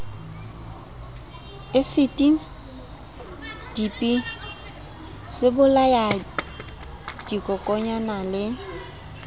asiti dipi sebolaya dikokonyana le